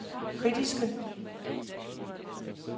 kritiske